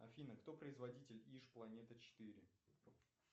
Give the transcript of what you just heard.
афина кто производитель иж планета четыре